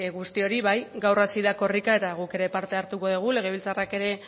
guztioi gaur hasi da korrika eta guk ere parte hartuko dugu legebiltzarrak ere